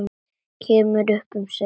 Kemur upp um sig.